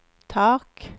tak